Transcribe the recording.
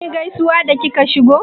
Kinyi gaisuwa da kika shigo?